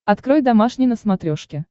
открой домашний на смотрешке